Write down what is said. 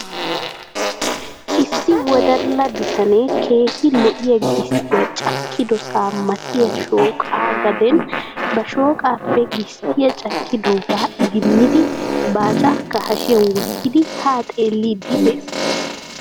Issi wodalla bitanee keehi lo'iyaa gisttiyaa cakkidosaa matiyaa shooqa gaden ba shooqaappe gisttiyaa cakkidooga idimmidi baacaakka hashiyan wottidi haa xeelliidi de'ees.